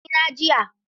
Na rasa ɗankunnena jiya.